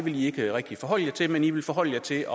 i ikke rigtig forholde jer til men i vil forholde jer til